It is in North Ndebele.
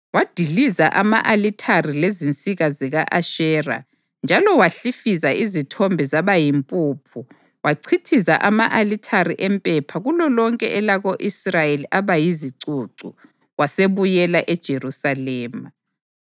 wadiliza ama-alithare lezinsika zika-Ashera njalo wahlifiza izithombe zaba yimpuphu wachithiza ama-alithare empepha kulolonke elako-Israyeli aba yizicucu. Wasebuyela eJerusalema.